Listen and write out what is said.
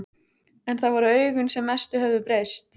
En það voru augun sem mest höfðu breyst.